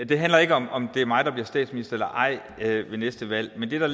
det handler ikke om om det er mig der bliver statsminister eller ej ved næste valg men det der